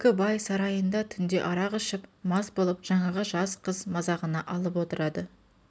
екі бай сарайында түнде арақ ішіп мас болып жаңағы жас қыз мазағына алып отырады